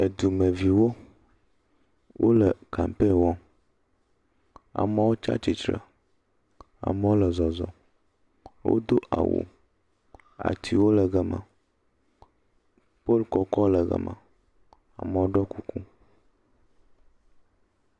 Dumeviwo, wole kampeni wɔm. Amewo tsi atsitre, amewo le zɔzɔm, wodo awu, atiwo le gema, polu kɔkɔ le gema, amewo ɖɔ kuku.